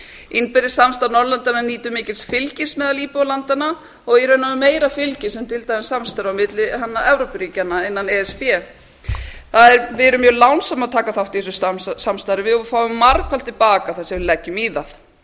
innbyrðis samstarf norðurlandanna nýtur mikils fylgis meðal íbúa landanna og í raun og veru meira fylgis en til dæmis samstarfs milli evrópuríkjanna innan e s b við erum mjög lánsöm að taka þátt í þessu samstarfi og við fáum margfalt til baka það sem við leggjum í það